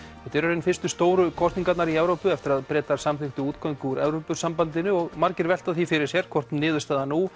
þetta eru fyrstu stóru kosningarnar í Evrópu eftir að Bretar samþykktu útgöngu úr Evrópusambandinu og margir velta því fyrir sér hvort niðurstaðan nú